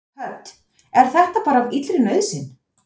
Hödd: Er þetta bara af illri nauðsyn?